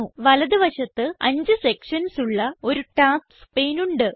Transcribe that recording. വലത് വശത്ത് 5 സെക്ഷൻസ് ഉള്ള ഒരു ടാസ്ക്സ് പാനെ ഉണ്ട്